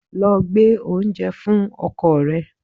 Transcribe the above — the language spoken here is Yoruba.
Lọ gbé oúnjẹ fún ọkọ rẹ!